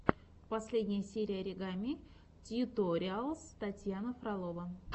последняя серия оригами тьюториалс татьяна фролова